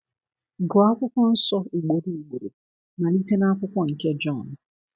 Gụọ akwụkwọ nsọ ugboro ugboro, malite na akwụkwọ nke Jon.